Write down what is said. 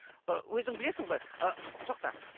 ы өзің білесің ғой ыыы тоқта